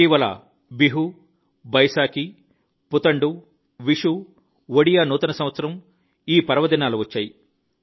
ఇటీవల బిహు బైసాకి పుతండు విషూ ఒడియా నూతన సంవత్సరం మొదలైన పర్వదినాలు వచ్చాయి